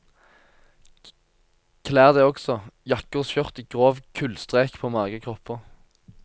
Klær det også, jakker og skjørt i grov kullstrek på magre kropper.